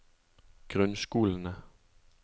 grunnskolene